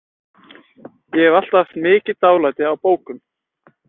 Ég hef alltaf haft mikið dálæti á bókum.